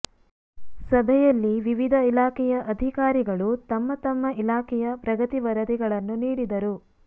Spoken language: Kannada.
ಸಭೆಯಲ್ಲಿ ವಿವಿಧ ಇಲಾಖೆಯ ಅಧಿಕಾರಿಗಳು ತಮ್ಮ ತಮ್ಮ ಇಲಾಖೆಯ ಪ್ರಗತಿ ವರದಿಗಳನ್ನು ನೀಡಿದರು